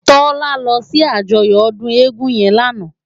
Tola lò si àjòyò òdún égùn yèn làná